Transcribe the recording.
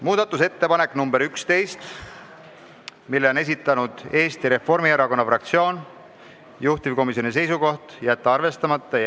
Muudatusettepanek nr 11, mille on esitanud Eesti Reformierakonna fraktsioon, juhtivkomisjoni seisukoht: jätta arvestamata.